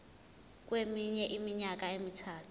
kweminye iminyaka emithathu